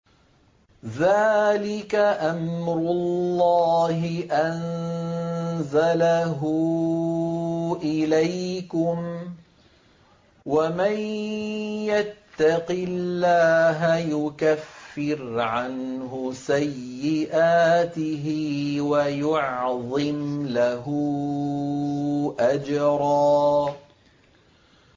ذَٰلِكَ أَمْرُ اللَّهِ أَنزَلَهُ إِلَيْكُمْ ۚ وَمَن يَتَّقِ اللَّهَ يُكَفِّرْ عَنْهُ سَيِّئَاتِهِ وَيُعْظِمْ لَهُ أَجْرًا